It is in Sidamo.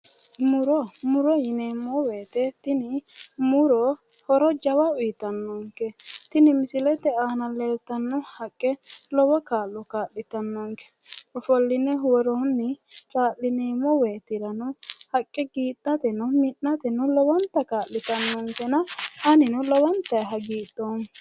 Muro muro yineemmo woyiite tini muro horo jawa uyiitannonke tini misilete aana leelttanno haqqe lowo kaa'lo kaa'litannonke ofolline woroonni caa'lineemmo woyiitirano haqqe giidhateno mi'nateno lowonta kaa'litannonke anino lowontayi hagidhoomma.